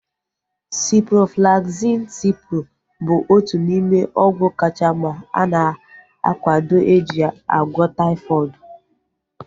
Ciproflaxin (Cipro) bụ otu n'ime ọgwụ kacha mma ana akwado eji agwọ taifọdụ